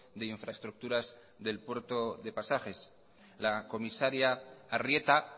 de infraestructuras del puerto de pasajes la comisaria arrieta